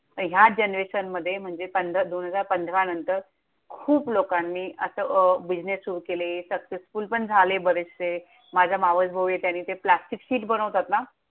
ह्या जनरेशनमध्ये, म्हणजे पंधरा, दोन हजार पंधरानंतर खूप लोकांनी असे अं business सुरु केले successful पण झाले बरेचसे. माझा मावसभाऊए त्याने ते plastic sheet बनवतात ना!